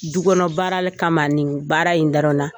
Du kɔnɔ baara kama nin baara in dɔrɔn na.